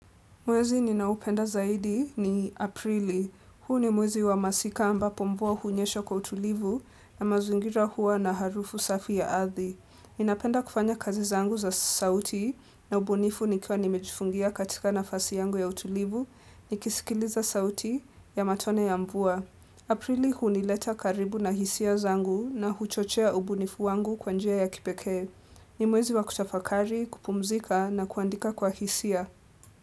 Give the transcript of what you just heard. Mwezi ninaupenda zaidi ni Aprili. Huu ni mwezi wa masika ampo mvua hunyeshoa kwa utulivu na mazingira hua na harufu safi ya arthi. Ninapenda kufanya kazi zangu za sauti na ubunifu nikwa nimejufungia katika nafasi yangu ya utulivu, nikisikiliza sauti ya matone ya mvua. Aprili hunileta karibu na hisia zangu na huchochea ubunifu wangu kwa njia ya kipeke. Ni mwezi wa kutafakari, kupumzika na kuandika kwa hisia.